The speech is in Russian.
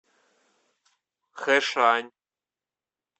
хэшань